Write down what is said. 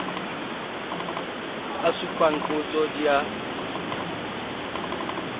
a supang qotso di a